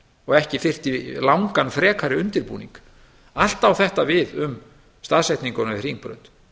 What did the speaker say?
og ekki þyrfti langan frekari undirbúning allt á þetta við um staðsetninguna við hringbraut